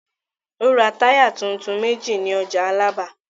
Ó ra táyà tuntun méjì ní ọjà Alábà.